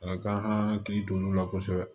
A ka kan an ka hakili to n'u la kosɛbɛ